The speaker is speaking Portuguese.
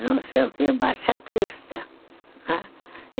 não sei o que, Baixacrista, né.